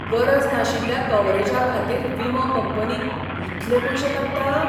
गरज नाशिल्ल्या कव्हरेजा खातीर विमो कंपनी इतले पयशे काडटा?